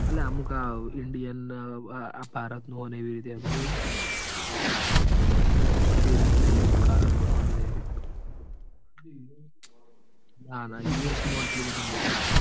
આલ્યા અમુક આ indian ન આ ભારત નું હ એવું એવી રીતે. ભેદ કર એમ કળા એ રીત નું ના ના યુએસ માં એટલું બધું નહિ.